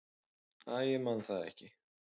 """Æ, ég man það ekki."""